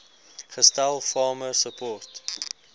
gestel farmer support